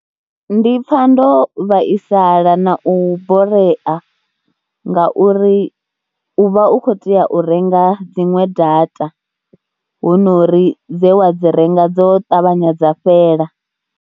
Ndi pfa ndo vhaisala na u borea ngauri u vha u khou tea u renga dziṅwe data hu no ri dze wa dzi renga dzo ṱavhanya dza fhela.